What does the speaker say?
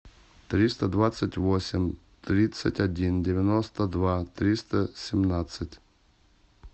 триста двадцать восемь тридцать один девяносто два триста семнадцать